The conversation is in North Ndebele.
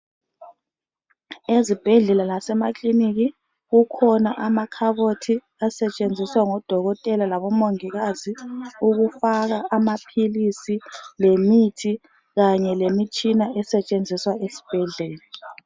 Ezibhedlela lasemakilinika kukhona amakhabothi asetshenziswa ngodokotela labomongikazi ukufaka amaphilisi lemithi kanye lemitshina esetshenziswa esibhedlela.